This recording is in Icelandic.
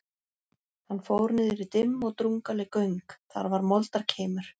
Hann fór niður í dimm og drungaleg göng, þar var moldarkeimur.